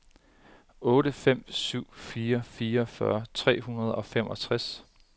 otte fem syv fire fireogfyrre tre hundrede og femogtres